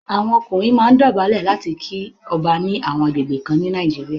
Àwọn ọkùnrin máa ń dọ̀bálẹ̀ láti kí ọba ní àwọn agbègbè kan ní Nàìjíríà.